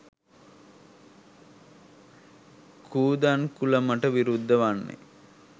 කූදන්කුලමට විරුද්ධ වන්නේ